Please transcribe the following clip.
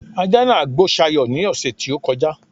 ajá nàá gbó Sayo ní ọ̀ṣẹ̀ tí ó kọjá